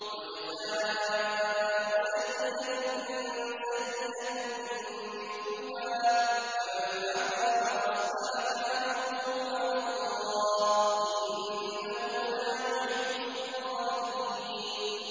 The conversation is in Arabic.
وَجَزَاءُ سَيِّئَةٍ سَيِّئَةٌ مِّثْلُهَا ۖ فَمَنْ عَفَا وَأَصْلَحَ فَأَجْرُهُ عَلَى اللَّهِ ۚ إِنَّهُ لَا يُحِبُّ الظَّالِمِينَ